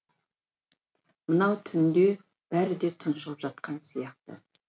мынау түнде бәрі де тұншығып жатқан сияқты